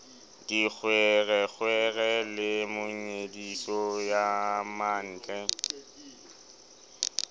dikgwerekgwere le monyediso ya mantle